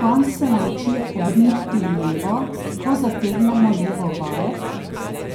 Konj se nauči obrniti levo, ko zategnemo levo vajet,